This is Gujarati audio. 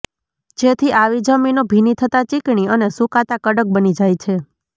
જેથી આવી જમીનો ભીની થતા ચીકણી અને સૂકાતા કડક બની જાય છે